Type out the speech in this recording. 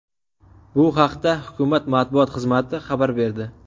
Bu haqda hukumat matbuot xizmati xabar berdi .